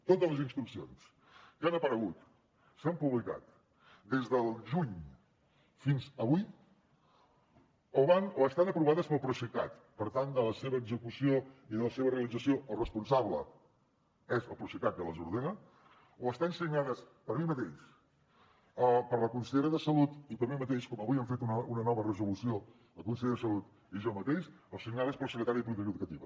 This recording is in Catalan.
totes les instruccions que han aparegut s’han publicat des del juny fins avui o estan aprovades pel procicat per tant de la seva execució i de la seva realització el responsable és el procicat que les ordena o estan signades per mi mateix per la consellera de salut i per mi mateix com avui hem fet una nova resolució la consellera de salut i jo mateix o signades pel secretari de polítiques educatives